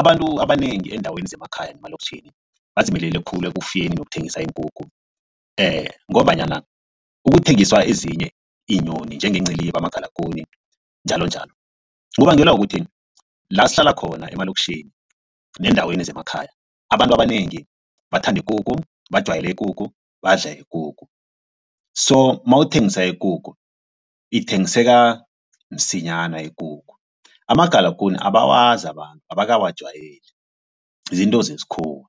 Abantu abanengi eendaweni zemakhaya nemalokitjhini badzimelele khulu ekufuyeni nokuthengisa iinkukhu ngombanyana ukuthengiswa ezinye iinyoni, njengeenciliba, amagalagune njalonjalo. Kubangelwa kukuthi la sihlala khona emalokitjhini neendaweni zemakhaya abantu abanengi bathanda ikukhu bajwayele ikukhu badla ikukhu. So mawuthengisa ikukhu ithengiseka msinyana ikukhu amagalagune abawazi abantu abakawajwayeli zinto zesikhuwa